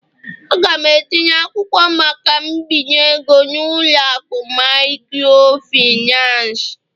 A ga m etinye akwụkwọ maka mbinye ego n'ụlọ akụ microfinance